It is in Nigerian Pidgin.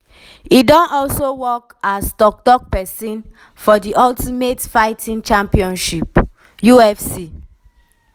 e don also work as tok-tok pesin for di ultimate fighting championship (ufc).